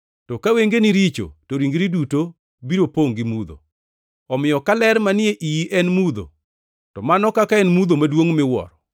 To ka wengeni richo to ringri duto biro pongʼ gi mudho. Omiyo ka ler manie iyi en mudho, to mano kaka en mudho maduongʼ miwuoro!